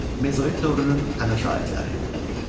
Mezolit dövrünün əmək alətləri.